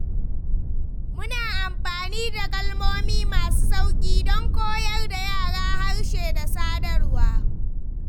Muna amfani da kalmomi masu sauƙi don koyar da yara harshe da sadarwa.